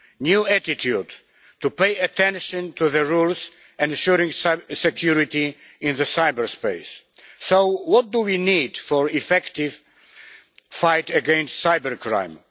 new attitude to pay attention to the rules ensuring security in cyberspace. So what do we need for an effective fight against cybercrime?